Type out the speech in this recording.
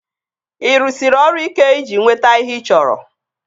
Ị rụsiri ọrụ ike iji nweta ihe ị chọrọ?